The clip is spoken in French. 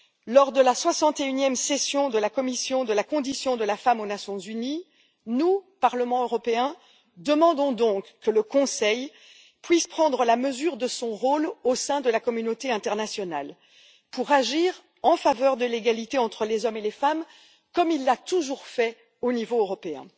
Lors de la 61e session de la commission de la condition de la femme aux Nations unies, nous, Parlement européen, demandons par conséquent que le Conseil puisse prendre la mesure de son rôle au sein de la communauté internationale pour agir en faveur de l'égalité entre les hommes et les femmes, comme il l'a toujours fait au niveau européen.